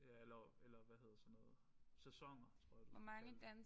Ja eller eller hvad hedder sådan noget sæsoner tror jeg du kan kalde det